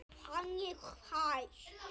Þannig fæst